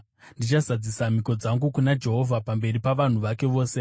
Ndichazadzisa mhiko dzangu kuna Jehovha, pamberi pavanhu vake vose.